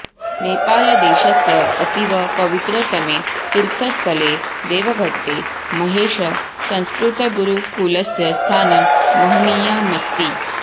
नेपालदेशस्य अतीव पवित्रतमे तीर्थस्थले देवघट्टे महेशसंस्कृतगुरूकुलस्य स्थानं महनीयमस्ति